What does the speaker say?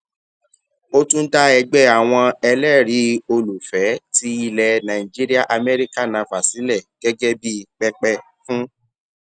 ó tún dá ẹgbẹ àwọn ẹlẹrìí olùfẹẹ ti ilẹ nàìjíríàamẹríkà nava sílẹ gẹgẹ bí pẹpẹ fún